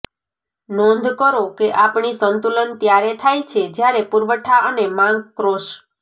નોંધ કરો કે આપણી સંતુલન ત્યારે થાય છે જ્યાં પુરવઠા અને માંગ ક્રોસ